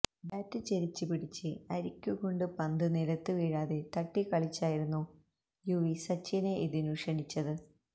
bat ചെരിച്ച് പിടിച്ച് അരിക്ക് കൊണ്ട് പന്ത് നിലത്ത് വീഴാതെ തട്ടിക്കളിച്ചായിരുന്നു യുവി സച്ചിനെ ഇതിനു ക്ഷണിച്ചത്